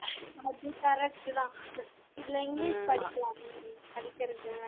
அது correct தான் இதுலா இங்கிலிஷ் படிக்கலாமே நீ படிக்கறது